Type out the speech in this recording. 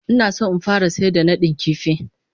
Ina so in fara sayar da nadin kifi.